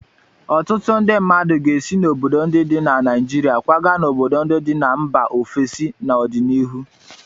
Ọtụtụ ndị mmadụ ga-esi n'obodo ndị dị na Naịjirịa kwaga n'obodo ndị dị na mba ofesi n'ọdịnihu.